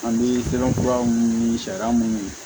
An bɛ sɛbɛnfura minnu ɲini sariya munnu